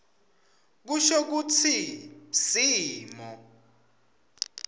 kusho kutsi simo